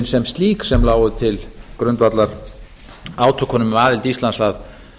sem slík sem lágu til grundvallar átökunum um aðild íslands að